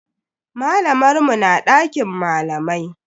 Malamar mu na dakin malamai.